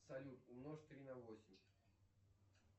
салют умножь три на восемь